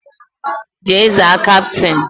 Jee zaa kapịtịn!